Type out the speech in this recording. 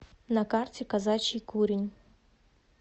на карте казачий курень